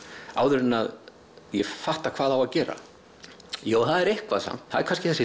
áður en ég fatta hvað á að gera það er eitthvað samt það er kannski þessi